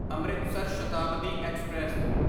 Amritsar Shatabdi express